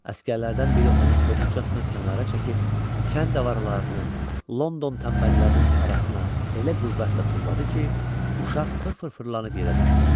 Əsgərlərdən biri onu kobudcasına kənara çəkib kənd avarılarının, London tənbəllərinin arasına elə qüvvətlə tulladı ki, uşaq fır-fır fırlanıb yerə düşdü.